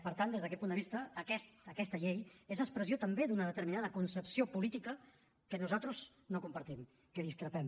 per tant des d’aquest punt de vista aquesta llei és expressió també d’una determinada concepció política que nosaltres no compartim amb què discrepem